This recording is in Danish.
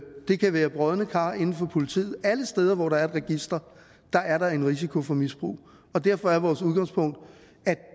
det kan være brodne kar inden for politiet alle steder hvor der er et register er der en risiko for misbrug derfor er vores udgangspunkt at